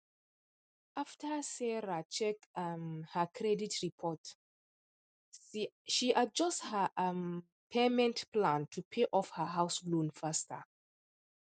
after sarah check um her credit report she adjust her um payment plan to pay off her house loan faster